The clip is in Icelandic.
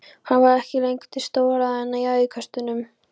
Hann var ekki lengur til stórræðanna í æðisköstunum.